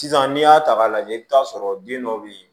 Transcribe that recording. Sisan n'i y'a ta k'a lajɛ i bɛ t'a sɔrɔ den dɔ bɛ yen